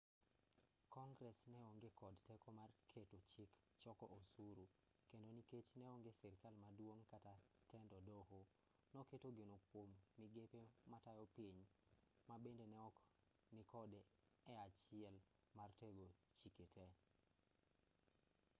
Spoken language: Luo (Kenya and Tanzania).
kongress neonge kod teko mar keto chik choko osuru kendo nikech neonge sirkal maduong' kata tend doho noketo geno kuom migepe matayo piny mabende neok nikode e achiel mar tego chike tee